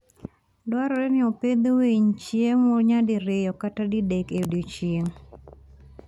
Dwarore ni opidh winy chiemo nyadiriyo kata didek e odiechieng'.